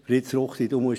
Fritz Ruchti, du musst